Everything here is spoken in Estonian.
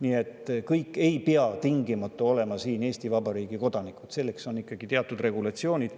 Aga kõik ei pea tingimata olema Eesti Vabariigi kodanikud, selleks on ikkagi teatud regulatsioonid.